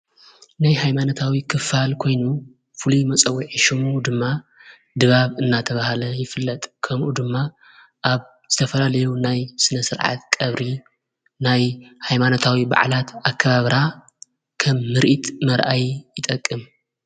ናይ ኃይማነታዊ ክፋል ኴይኑ ፍሉዩ መጸዊዕ ሹሙ ድማ ድባብ እናተብሃለ ይፍለጥ ከምኡ ድማ ኣብ ዘተፈላለዩ ናይ ስነ ሥርዓት ቀብሪ ናይ ኃይማነታዊ ባዕላት ኣከባብራ ከም ምርእት መርኣይ ይጠቅም::